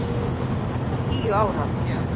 Hún var tíu ára.